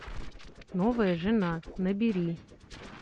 новая жена набери